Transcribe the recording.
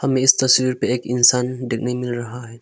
हमें इस तस्वीर पे एक इंसान देखने मिल रहा है।